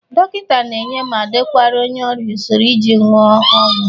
Dọkịnta na-enye ma dekwara onye ọrịa usoro iji ñụa ọgwọ